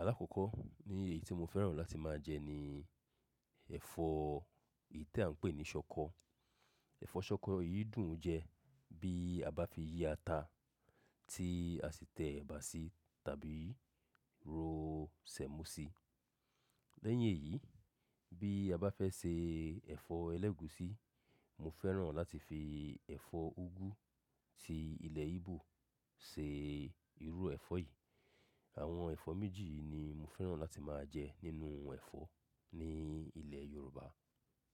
Alákọ́kọ́ ni èyí tí mo fẹ́ràn láti máa jẹ ni ẹ̀fọ́ èyí tí à ń pè ní ṣọkọ. Ẹ̀fọ́ ṣọkọ yìí dùn jẹ bí a bá fi yí ata tí a sì tẹ ẹ̀bà sí tàbí ro sẹ̀mọ́ sí. Lẹ́yìn èyí, bí a bá fẹ́ se ẹ̀fọ́ ẹlẹ́gùúsí, mo fẹ́ràn láti fi ẹ̀fọ́ úgú tí ilẹ̀ Igbo ṣe irú ẹ̀fọ́ yìí. Àwọn ẹ̀fọ́ méjì yìí ni mo fẹ́ràn láti máa jẹ nínú ẹ̀fọ́ ní ilẹ̀ Yorùbá.